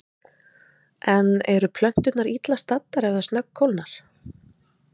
En eru plönturnar illa staddar ef það snöggkólnar?